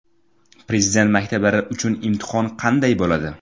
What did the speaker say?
Prezident maktablari uchun imtihon qanday bo‘ladi?.